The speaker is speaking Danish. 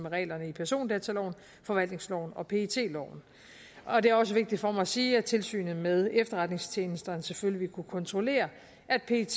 reglerne i persondataloven forvaltningsloven og pet loven og det er også vigtigt for mig at sige at tilsynet med efterretningstjenesterne selvfølgelig vil kunne kontrollere at pet